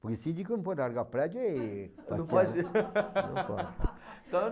Porque síndico não pode largar prédio e... Não pode ser. Não pode. Então